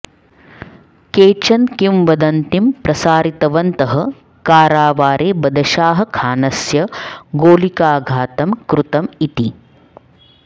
केचन किंवदन्तीं प्रसारितवन्तः कारावारे बदशाह खानस्य गोलिकाघातं कृतम् इति